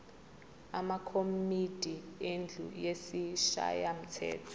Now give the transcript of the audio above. amakomidi endlu yesishayamthetho